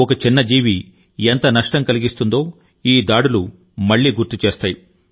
ఒక చిన్న జీవి ఎంత నష్టం కలిగిస్తుందో ఈ దాడులు మళ్ళీ గుర్తుచేస్తాయి